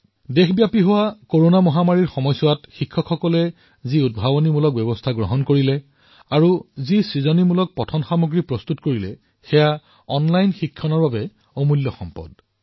সমগ্ৰ দেশতে কৰোনাৰ এই সময়ছোৱাত শিক্ষকসকলে যি উদ্ভাৱনী পন্থা গ্ৰহণ কৰিলে যি পাঠ্যপুথিৰ সামগ্ৰী প্ৰস্তুত কৰিলে অনলাইনত যি পঢ়ুৱালে সেয়া সঁচাকৈয়ে অমূল্য